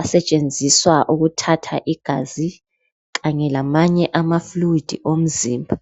asetshenziswa ukuthatha igazi kanye lamanye ama 'fluid' omzimba